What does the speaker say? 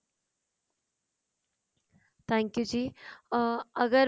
thank you ਜੀ ਅਮ ਅਗਰ